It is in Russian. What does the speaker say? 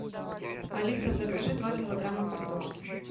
алиса закажи два килограмма картошки